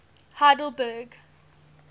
heidelberg